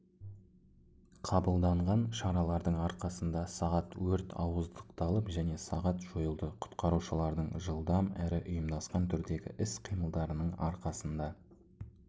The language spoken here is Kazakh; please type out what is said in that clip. қабылданған шаралардың арқасында сағат өрт ауыздықталып және сағат жойылды құтқарушылардың жыдлдам әрі ұйымдасқан түрдегі іс-қимылдарының арқасында